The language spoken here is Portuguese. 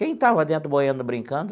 Quem estava dentro boiando brincando?